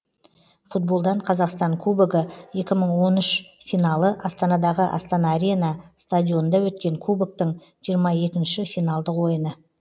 футболдан қазақстан кубогы екі мың он үш финалы астанадағы астана арена стадионында өткен кубоктың жиырма екінші финалдық ойыны